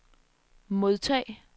modtag